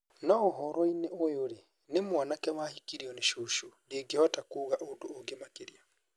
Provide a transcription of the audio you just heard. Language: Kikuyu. No ũhoro-inĩ ũyũ-rĩ, nĩ mwanake wahikirio nĩ cũcũ. Ndingĩhota kuuga ũndũ ũngĩ makĩria".